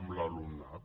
amb l’alumnat